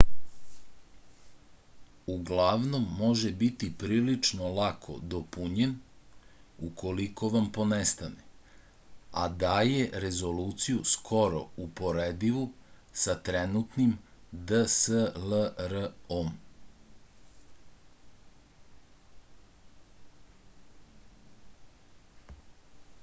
uglavnom može biti prilično lako dopunjen ukoliko vam ponestane a daje rezoluciju skoro uporedivu sa trenutnim dslr-om